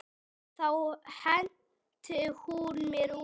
Þá henti hún mér út.